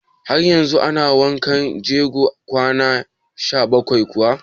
Har yanzu ana wankan jego kwana arba'in kuwa?